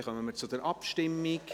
Dann kommen wir zur Abstimmung.